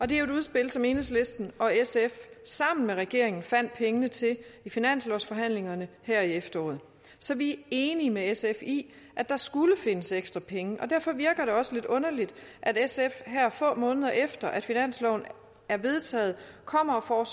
det er et udspil som enhedslisten og sf sammen med regeringen fandt pengene til i finanslovsforhandlingerne her i efteråret så vi enige med sf i at der skulle findes ekstra penge og derfor virker det også lidt underligt at sf her få måneder efter at finansloven er vedtaget kommer og